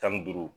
Tan ni duuru